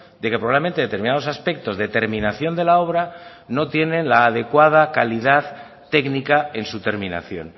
de que probablemente determinados aspectos de terminación de la obra no tiene la adecuada calidad técnica en su terminación